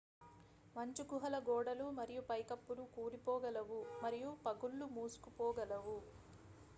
మంచు గుహల గోడలు మరియు పైకప్పులు కూలిపోగలవు మరియు పగుళ్లు మూసుకుపోగలవు